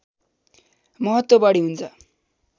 महत्त्व बढी हुन्छ